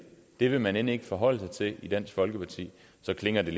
vil man end ikke forholde sig til i dansk folkeparti så klinger den